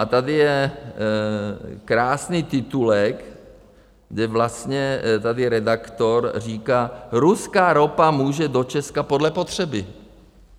A tady je krásný titulek, kde vlastně tady redaktor říká: Ruská ropa může do Česka podle potřeby.